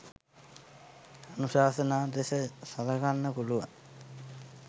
අනුශාසනා ලෙස සලකන්න පුළුවන්.